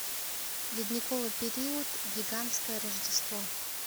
ледниковый период гигантское рождество